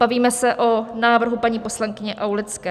Bavíme se o návrhu paní poslankyně Aulické.